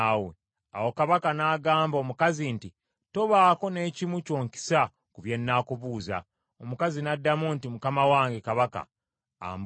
Awo kabaka n’agamba omukazi nti, “Tobaako n’ekimu ky’onkisa ku bye nnaakubuuza.” Omukazi n’addamu nti, “Mukama wange kabaka ambuuze.”